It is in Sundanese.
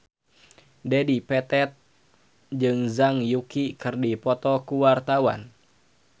Dedi Petet jeung Zhang Yuqi keur dipoto ku wartawan